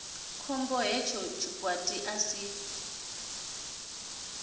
khombo hetsho tshikwati a si